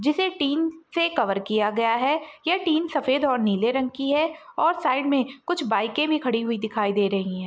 जिसे टीन से कवर किया गया हैं। यह टीन सफ़ेद और नीले रंग की हैं और साईड में कुछ बाइके भी खड़ी हुई दिखाई दे रही हैं।